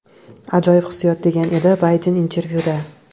Ajoyib hissiyot!”, degan edi Bayden intervyuda.